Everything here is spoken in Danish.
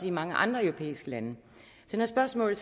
i mange andre europæiske lande så når spørgsmålet